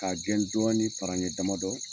K'a gɛn dɔɔnin paraɲɛ damadɔ